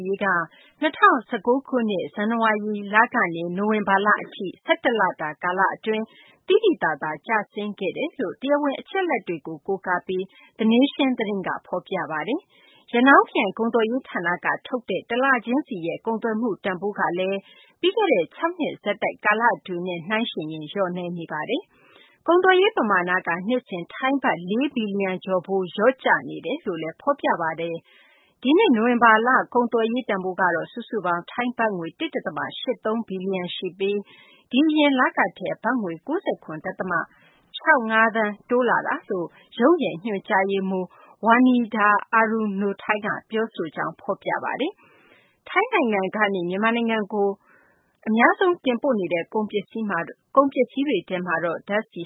ရေးက ၂၀၁၉ ခုနှစ် ဇန်နဝါရီလကနေ နိုဝင်ဘာလအထိ ၁၁ လတာ ကာလအတွင်း သိသိသာသာ ကျဆင်းခဲ့တယ်လို့ တရားဝင် အချက်အလက်တွေကို ကိုးကားပြီး The Nation သတင်းက ဖော်ပြပါတယ်။ ရနောင်းခရိုင် ကုန်သွယ်ရေးဌာနက ထုတ်ပြန်တဲ့ တလချင်းစီရဲ့ ကုန်သွယ်မှု တန်ဖိုးကလည်း ပြီးခဲ့တဲ့ ၆ နှစ်ဆက်တိုက် ကာလအတွင်းနဲ့ နှိုင်းယှဉ်ရင် လျော့နည်းနေပါတယ်။ ကုန်သွယ်ရေး ပမာဏက နှစ်စဉ် ထိုင်းဘတ် ၄ ဘီလျံကျော်ဖိုး လျော့ကျနေတယ်လို့လည်း ဖော်ပြပါတယ်။ ဒီနှစ် နိုဝင်ဘာလ ကုန်သွယ်ရေး တန်ဖိုးကတော့ စုစုပေါင်း ထိုင်းဘတ်ငွေ ၁ ဒသမ ၈၃ ဘီလံျဖိုး ရှိပြီး ဒီအရင်လကထက် ဘတ်ငွေ ၉၇ ဒသမ ၆၅ သန်း တိုးလာတာလို့လည်း ရုံးရဲ့ ညွှန်ကြားရေးမှူး Wanida Arunothai က ပြောဆိုကြောင်း ဖော်ပြပါတယ်။ ထိုင်းနိုင်ငံကနေ မြန်မာနိုင်ငံကို အများဆုံး တင်ပို့နေတဲ့ ကုန်ပစ္စည်းတွေကတော့ ဓာတ်ဆီ